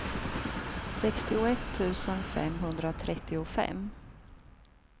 sextioett tusen femhundratrettiofem